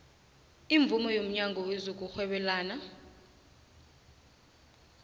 imvumo yomnyango wezokurhwebelana